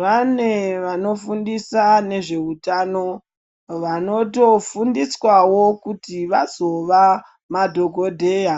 Vane vanofundise nezveutano vanotofundiswawo kuti vazova madhokoteya.